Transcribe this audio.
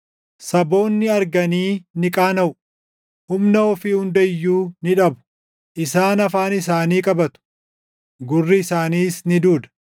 Saboonni arganii ni qaanaʼu; humna ofii hunda iyyuu ni dhabu. Isaan afaan isaanii qabatu; gurri isaaniis ni duuda.